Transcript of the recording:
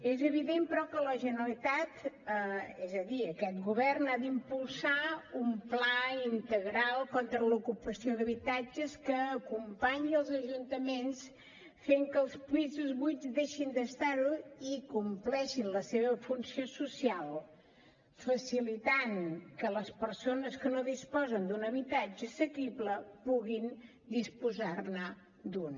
és evident però que la generalitat és a dir aquest govern ha d’impulsar un pla integral contra l’ocupació d’habitatges que acompanyi els ajuntaments fent que els pisos buits deixin d’estar ho i compleixin la seva funció social facilitant que les persones que no disposen d’un habitatge assequible puguin disposar ne d’un